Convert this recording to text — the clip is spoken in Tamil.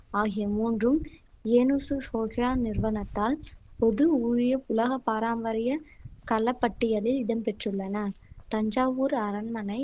ஆகிய மூன்றும் நிறுவனத்தால் பொது ஊழிய உலக பாரம்பரிய கல க்கட்டியலில் இடம் பெற்றுள்ளன தஞ்சாவூர் அரண்மனை